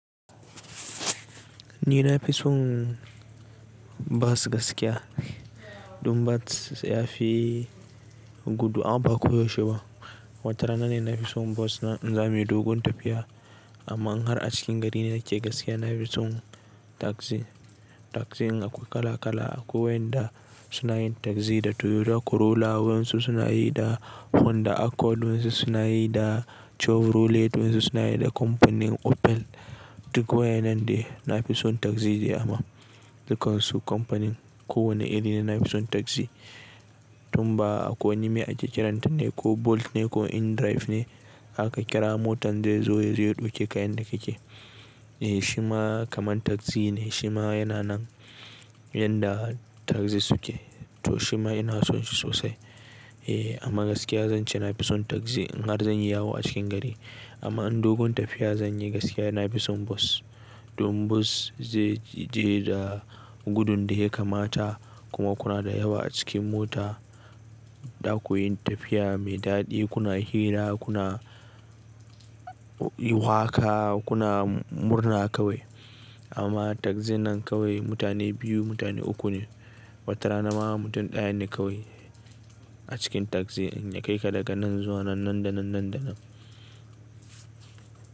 Ni na fi son basu gaskiya. Dun bat ya fi gudu, amma ba ko yaushe ba. Wata rana ne na fi son bus na in za mu yi dogon tafiya. Amma in har a cikin gari ne nake gaskiya, na fi son taxi. Taxi ɗin akwai kala-kala. Akwai waɗanda suna yin taxi da Toyota Corolla, wasu suna yi da Honda Accord, wasu suna yi da Chevrolet, wasu suna yi da kamfanin Opel. Duk wa'in nan dai na fi son taxi ne amma. Dukansu kamfanin ko wanne iri ne, na fi son taxi. Tun ba akwai wani me ake kiranta ne ko Bolt ne ko InDrive ne, aka kira motan zai zo ya ɗauke ka in da kake. Eh shima kamar taxi ne, shima yana nan yanda taxi suke. To shima ina son shi sosai. Eh amma gaskiya zance na fi son taxi in har zan yi yawo a cikin gari. Amma in dogon tafiya zan yi gaskiya na fi son bus. Domin bus zai je da gudun da ya kamata kuma kuna da yawa a cikin mota. Za ku yi tafiya mai daɗi, kuna hira, kuna yi waƙa, kuna murna kawai. Amma tagzi nan kawai mutane biyu mutane uku ne. Wata rana ma mutum ɗaya ne kawai cikin taxi ɗin ya kai ka daga nan zuwa nan da nan nan da nan.